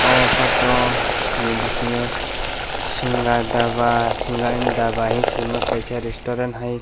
amo photo ni bising yo singha dhaba singha n dhaba hing sima kaisa resturant hai.